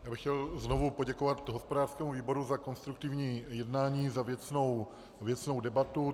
Já bych chtěl znovu poděkovat hospodářskému výboru za konstruktivní jednání, za věcnou debatu.